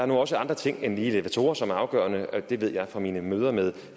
nu også andre ting end lige elevatorer som er afgørende det ved jeg fra mine møder med